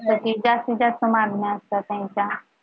तीन चार मागण्या असतात त्यांच्या